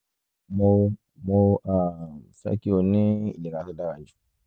mo mo um fẹ́ kí o ní ìlera tó dára jù lọ